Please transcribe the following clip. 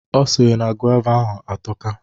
Ọ sịrị na gova ahụ atoka.